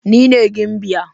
Ni ne gimbiya